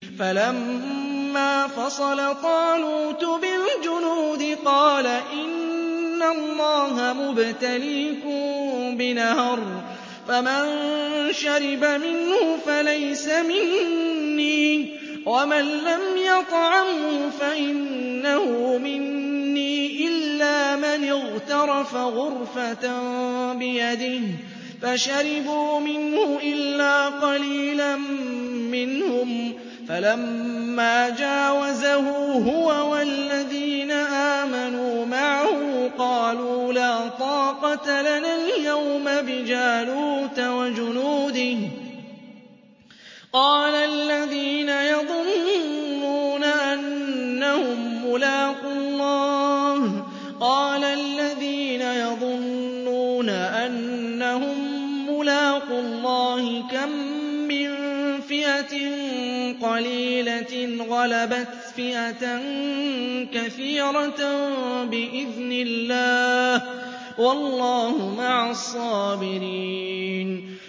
فَلَمَّا فَصَلَ طَالُوتُ بِالْجُنُودِ قَالَ إِنَّ اللَّهَ مُبْتَلِيكُم بِنَهَرٍ فَمَن شَرِبَ مِنْهُ فَلَيْسَ مِنِّي وَمَن لَّمْ يَطْعَمْهُ فَإِنَّهُ مِنِّي إِلَّا مَنِ اغْتَرَفَ غُرْفَةً بِيَدِهِ ۚ فَشَرِبُوا مِنْهُ إِلَّا قَلِيلًا مِّنْهُمْ ۚ فَلَمَّا جَاوَزَهُ هُوَ وَالَّذِينَ آمَنُوا مَعَهُ قَالُوا لَا طَاقَةَ لَنَا الْيَوْمَ بِجَالُوتَ وَجُنُودِهِ ۚ قَالَ الَّذِينَ يَظُنُّونَ أَنَّهُم مُّلَاقُو اللَّهِ كَم مِّن فِئَةٍ قَلِيلَةٍ غَلَبَتْ فِئَةً كَثِيرَةً بِإِذْنِ اللَّهِ ۗ وَاللَّهُ مَعَ الصَّابِرِينَ